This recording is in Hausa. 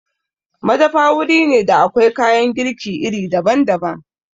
Madafa wuri ne da akwai kayan girki iri daban-daban.